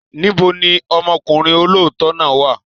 Níbo ni ọmọkùnrin olóòótọ́ náà wà?